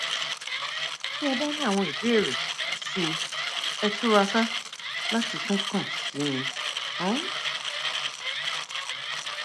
ti ẹ bá ní àwọn ìbéèrè síi ẹ túraká láti tún kàn sí mi um